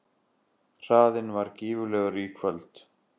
Hraðinn var gífurlegur í kvöld